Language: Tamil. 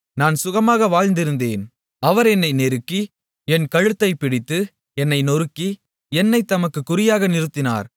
நான் சுகமாக வாழ்ந்திருந்தேன் அவர் என்னை நெருக்கி என் கழுத்தைப் பிடித்து என்னை நொறுக்கி என்னைத் தமக்கு குறியாக நிறுத்தினார்